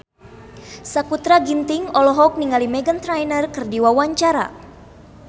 Sakutra Ginting olohok ningali Meghan Trainor keur diwawancara